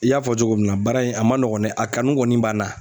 I y'a fɔ cogo min na baara in a ma nɔgɔn dɛ, a kanu kɔni b'an na.